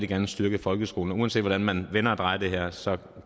gerne styrke folkeskolen og uanset hvordan man vender og drejer det her så